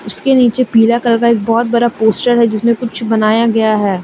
उसके नीचे पीला कलर का बहुत बड़ा पोस्टर है जिसमें कुछ बनाया गया है।